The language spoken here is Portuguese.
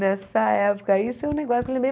Nessa época, isso é um negócio que eu lembrei.